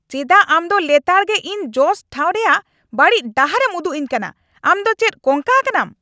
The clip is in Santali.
ᱪᱮᱫᱟᱜ ᱟᱢ ᱫᱚ ᱞᱮᱛᱟᱲᱜᱮ ᱤᱧ ᱡᱚᱥ ᱴᱷᱟᱶ ᱨᱮᱭᱟᱜ ᱵᱟᱹᱲᱤᱡ ᱰᱟᱦᱟᱨᱮᱢ ᱩᱫᱩᱜ ᱟᱹᱧ ᱠᱟᱱᱟ ? ᱟᱢ ᱫᱚ ᱪᱮᱫ ᱠᱚᱝᱠᱟ ᱟᱠᱟᱱᱟᱢ ?